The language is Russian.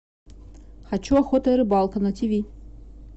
хочу охота и рыбалка на тв